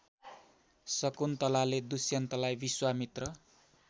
शकुन्तलाले दुष्यन्तलाई विश्वामित्र